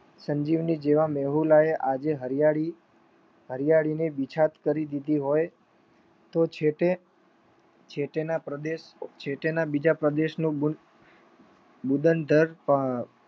સંજીવની જેવા મેહુલા આજે હરિયાળી હરિયાળીની બિછાત કરી દીધી હોય તો જેતે જેટના બીજા પ્રદેશો